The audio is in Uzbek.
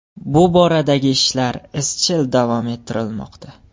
Bu boradagi ishlar izchil davom ettirilmoqda.